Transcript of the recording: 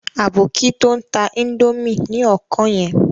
Aboki to ń ta índòmí ni ọkàn yẹn.